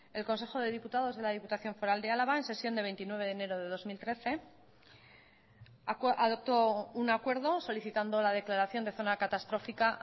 el consejo de diputados de la diputación foral de álava en sesión de veintinueve de enero de dos mil trece adoptó un acuerdo solicitando la declaración de zona catastrófica